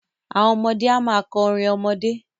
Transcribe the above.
Àwọn ọmọdé a máa kọ orin ọmọdé.